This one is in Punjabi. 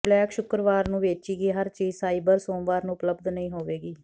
ਬਲੈਕ ਸ਼ੁੱਕਰਵਾਰ ਨੂੰ ਵੇਚੀ ਗਈ ਹਰ ਚੀਜ਼ ਸਾਈਬਰ ਸੋਮਵਾਰ ਨੂੰ ਉਪਲਬਧ ਨਹੀਂ ਹੋਵੇਗੀ